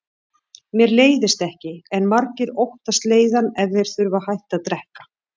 Mér leiðist ekki, en margir óttast leiðann ef þeir þurfa að hætta að drekka.